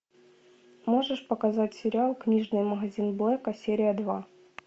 можешь показать сериал книжный магазин блэка серия два